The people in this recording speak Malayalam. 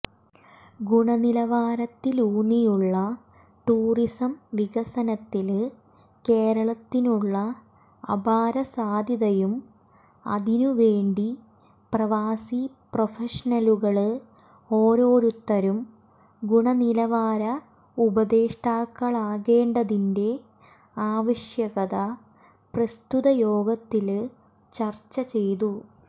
ഗുണനിലവാരത്തിലൂന്നിയുള്ള ടൂറിസം വികസനത്തില്കേരളത്തിനുള്ള അപാര സാദ്ധ്യതയും അതിനു വേണ്ടി പ്രവാസി പ്രൊഫഷണലുകള്ഓരോരുത്തരും ഗുണനിലവാര ഉപദേഷ്ടാക്കളാകേണ്ടതിന്റെ ആവിശ്യകതയും പ്രസ്തുതയോഗത്തില് ചര്ച്ച ചെയ്തു